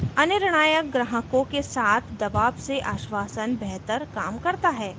अनिर्णायक ग्राहकों के साथ दवाब से आश्वासन बेहतर काम करता है